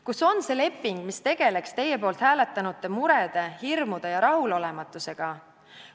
Kus on see leping, mis tegeleks teie poolt hääletanute murede, hirmude ja rahulolematusega?